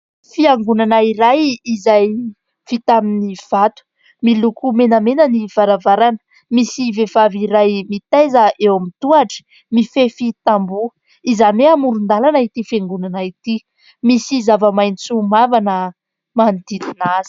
Fiangonana iray izay vita amin'ny vato, miloko menamena ny varavarana, misy vehivavy iray mitaiza eo amin'ny tohatra mifefy tamboho, izany hoe amoron-dalana ity fiangonana ity ; misy zava-maitso mavàna manodidina azy.